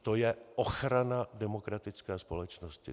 To je ochrana demokratické společnosti.